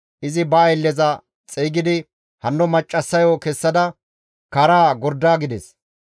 Izi ba aylleza xeygidi, «Hanno maccassayo kessada karaa gorda» gides.